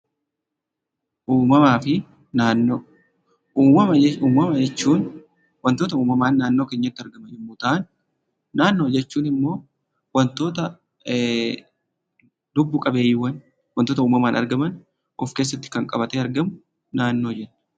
Uummama jechuun wantoota uummamaan naannoo keenyatti argaman jechuu yemmuu ta'u, naannoo jechuun immoo wantoota lubbu qabeeyyii ta'an kan of keessatti qabatudha.